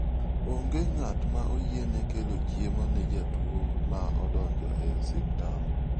Onge ng'at ma oyiene kelo chiemo ne jotuo ma odonjo e osiptal.